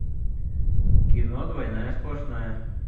кино двойная сплошная